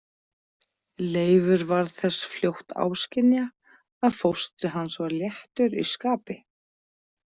Leifur varð þess fljótt áskynja að fóstri hans var léttur í skapi.